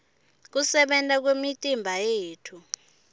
kusebenta kwemitimba yethu